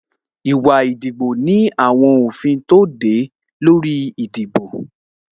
Ìwà ìdìbò ní àwọn òfin tó de e lórí ìdìbò